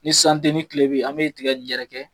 Ni sandenni kile be yen, an mi tigɛ nin yɛrɛ kɛ